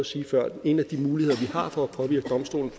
sige før at en af de muligheder vi har for at påvirke domstolens